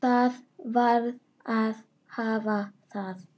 Það varð að hafa það.